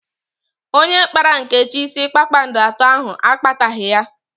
Onye kpara Nkechi isi kpakpando atọ ahụ akpataghi ya